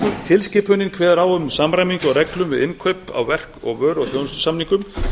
tilskipunin kveður á um samræmingu á reglum við innkaup á verk vöru og þjónustusamningum